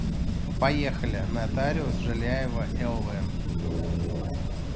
поехали нотариус жиляева лв